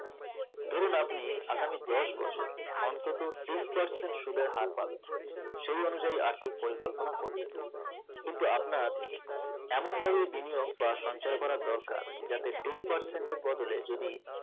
ধুরুন আপনি আগামী দশ বছর অন্তত তিন percent সুদের হার পাবেন সেই অনুযায়ী আর্থিক পরিকল্পনা করলেন কিন্তু আপনার এমন ভাবে বিনিয়োগ বা সঞ্চয় করা দরকার যাতে ten percent এর বদলে যদি